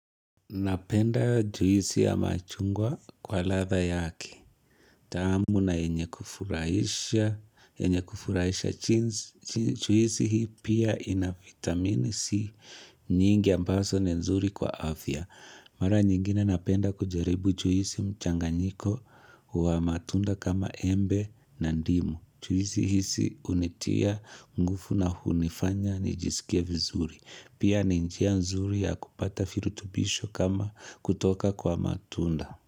Napenda juisi ya machungwa kwa ladha yake. Taamu na yenye kufurahisha, yenye kufurahisha jinsi. Juisi hii pia ina vitamini C nyingi ambaso ni nzuri kwa afya. Mara nyingine napenda kujaribu juisi mchanganyiko wa matunda kama embe na ndimu. Juhisi hisi hunitia, ngufu na hunifanya, nijisikie vizuri. Pia ninjia nzuri ya kupata virutubisho kama kutoka kwa matunda.